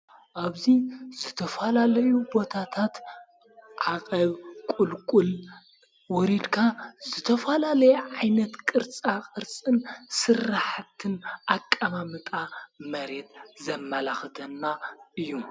ኣብዙይ ዝተፍላለዩ ቦታታት ዓቐብ ቊልቊል ወሪድካ ዝተፋላለይ ዓይነት ቅርጻ ቕርጽን ስራሓትን ኣቃማምጣ መሬት ዘመላኽተና እዩ።